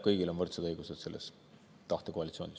Kõigil on võrdsed õigused selles tahtekoalitsioonis.